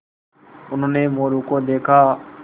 उन्होंने मोरू को देखा